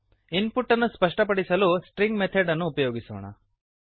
ಇನ್ ಪುಟ್ ಅನ್ನು ಸ್ಪಷ್ಟಪಡಿಸಲು string method ಅನ್ನು ಉಪಯೋಗಿಸೋಣ